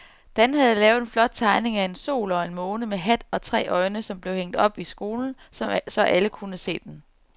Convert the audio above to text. Dan havde lavet en flot tegning af en sol og en måne med hat og tre øjne, som blev hængt op i skolen, så alle kunne se den.